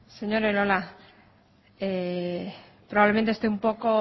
señor elola probablemente esté un poco